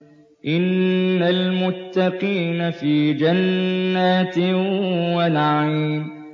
إِنَّ الْمُتَّقِينَ فِي جَنَّاتٍ وَنَعِيمٍ